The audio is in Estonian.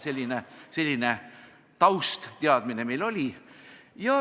Nii et selline taustteadmine meil oli.